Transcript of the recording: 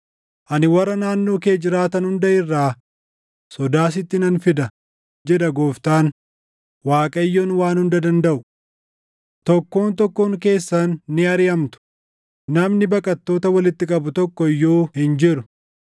Ani warra naannoo kee jiraatan hunda irraa sodaa sitti nan fida” jedha Gooftaan, Waaqayyoon Waan Hunda Dandaʼu. “Tokkoon tokkoon keessan ni ariʼamtu; namni baqattoota walitti qabu tokko iyyuu hin jiru.